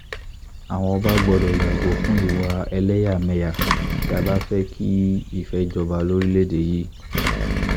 àwa ọba gbọ́dọ̀ yàgò fún ìwà ẹlẹ́yàmẹ̀yà tí a bá fẹ́ kí ìfẹ́ jọba lórílẹ̀‐èdè yìí